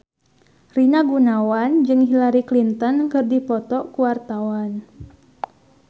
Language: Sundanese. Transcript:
Rina Gunawan jeung Hillary Clinton keur dipoto ku wartawan